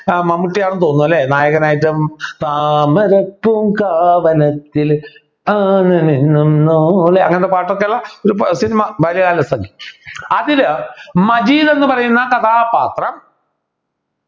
ആഹ് മമ്മൂട്ടി ആണെന്ന് തോന്നുന്നു അല്ലേ നായകനായിട്ടും താമരപ്പൂങ്കാവനത്തില് അങ്ങനത്തെ പാട്ടൊക്കെയുള്ള ഒരു cinema ബാലകാലസഖി അതിലെ മജീദ് എന്ന് പറയുന്ന കഥാപാത്രം